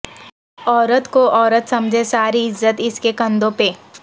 عورت کو عورت سمجھیں ساری عزت اس کے کندھوں پہ